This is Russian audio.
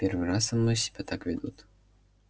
в первый раз со мной себя так ведут